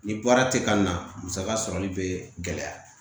Ni baara tɛ ka na musaka sɔrɔli bɛ gɛlɛya